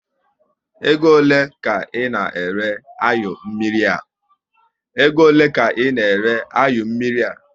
Ego ole ka ị na ere anyụ mmiri a?